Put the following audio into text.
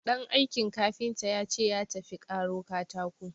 Ɗan aikin kafinta ya ce ya tafi karo katako.